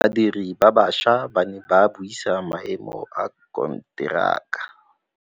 Badiri ba baša ba ne ba buisa maêmô a konteraka.